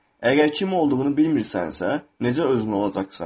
Əgər kim olduğunu bilmirsənsə, necə özün olacaqsan?